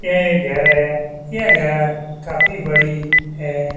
यह एक घर है यह घर काफी बड़ी है।